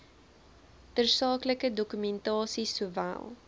tersaaklike dokumentasie sowel